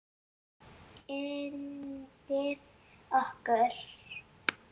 Hann var yndið okkar.